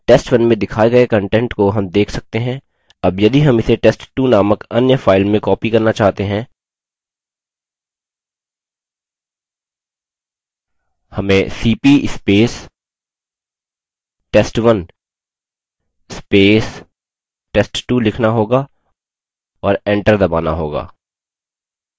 test1 में दिखाये गए content को हम देख सकते हैं as यदि हम इसे test2 नामक अन्य file में copy करना चाहते हैं हमें $cp test1 test2 लिखना होगा और एंटर दबाना होगा